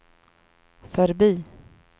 förbi